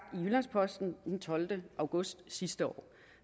i jyllands posten den tolvte august sidste år